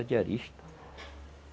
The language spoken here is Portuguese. diaristas